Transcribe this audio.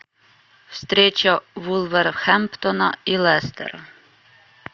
встреча вулверхэмптона и лестора